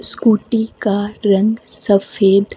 scooty का रंग सफेद--